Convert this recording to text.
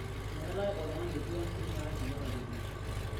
Meetai oltung'ani otua teina aji natepejori